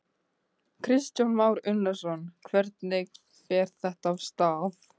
Kristján Már Unnarsson: Hvernig fer þetta af stað?